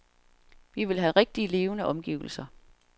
Vi vil have rigtige, levende omgivelser.